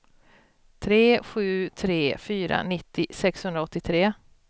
tre sju tre fyra nittio sexhundraåttiotre